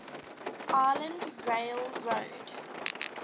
island rail road